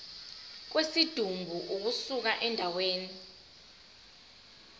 kwesidumbu ukusuka endaweni